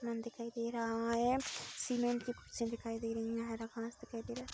आसमान दिखाई दे रहा है सीमेंट की कुर्सियाँ दिखाई दे रही है हरा घास दिखाई दे रहा --